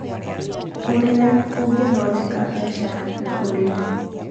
ũrĩa ũngĩthondeka mbeca na ũrĩmi